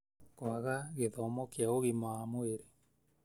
Kwaga gĩthomo kĩa ũgima wa mwĩrĩ: